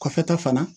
Kɔfɛta fana